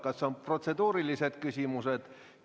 Kas on protseduurilised küsimused?